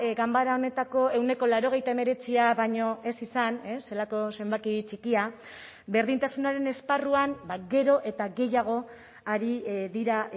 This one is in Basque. ganbara honetako ehuneko laurogeita hemeretzia baino ez izan zelako zenbaki txikia berdintasunaren esparruan gero eta gehiago ari dira